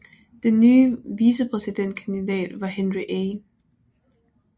Den nye vicepræsident kandidat var Henry A